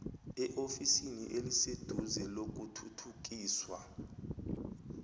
eofisini eliseduze lokuthuthukiswa